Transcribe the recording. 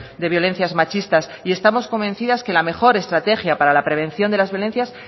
de violencias machistas y estamos convencidas de que la mejor estrategia para la prevención de las violencias